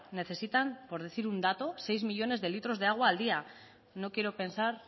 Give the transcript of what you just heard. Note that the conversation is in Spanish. necesitan por decir un dato seis millónes de litros de agua al día no quiero pensar